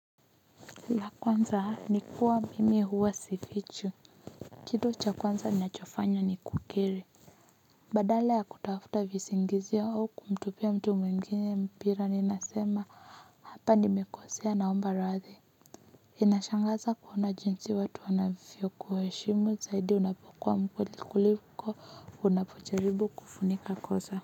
La kwanza ni kuwa mimi huwa sifichi. Kitu cha kwanza ninachofanya ni kukiri. Badala ya kutafuta visingizio au kumtupia mtu mwingine mpira ni nasema hapa nimekosea naomba radhi. Inashangaza kuona jinsi watu wanavyokuheshimu zaidi na kukuwa mzuri kuliko unapojaribu kufunika kosa.